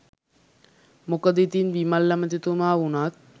මොකද ඉතින් විමල් ඇමතිතුමා වුණත්